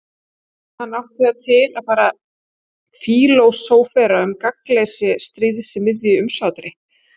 Hann átti það til að fara að fílósófera um gagnsleysi stríðs í miðju umsátri.